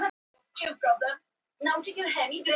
Tóti tók viðbragð.